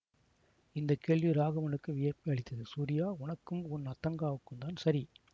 இந்த கேள்வி ராகவனுக்கு வியப்பையளித்ததுசூரியா உனக்கும் உன் அத்தங்காவுக்கும்தான் சரி